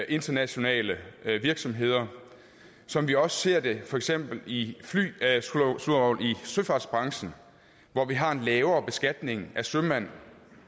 internationale virksomheder som vi også ser det for eksempel i søfartsbranchen hvor vi har en lavere beskatning af sømænd